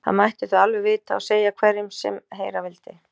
Það mættu þau alveg vita og segja hverjum sem heyra vildi.